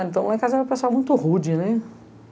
Então lá em casa era uma pessoa muito rude, né?